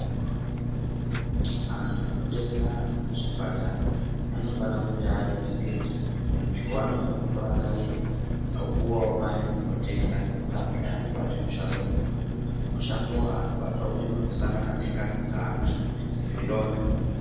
Antu anodetsera antu muzvipatara anofana kuti aremekedzwe antu anofana kurangarirwa opuwawo Mari dzinotenga nekuti vantu ava vanobata mushando mukuru mishando wavanobata umweni wekusangana nengazi dzevantu nezvironda.